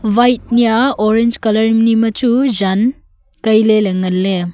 white nia orange colour nia chu jan taile le nganle.